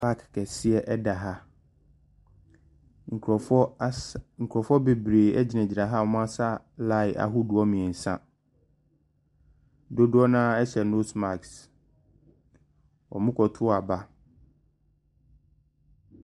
Park kɛseɛ da ha. Nkurɔfoɔ asa nkurɔfoɔ bebree gyinagyina ha a wɔasa line ahodoɔ mmeɛnsa. Dodoɔ no ara hyɛ nose mask. Wɔrekato aba.